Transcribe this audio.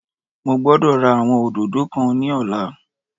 Mo gbódò ra àwọn òdòdó kan ní ọ̀la